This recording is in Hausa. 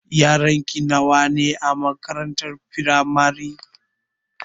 Yaranki nawa ne a makarantar firamare?